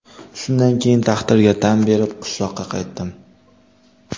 Shundan keyin taqdirga tan berib, qishloqqa qaytdim.